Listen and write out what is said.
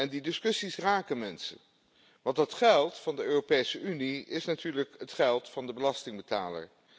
Die discussies raken mensen, want dat geld van de Europese Unie is natuurlijk het geld van de belastingbetaler.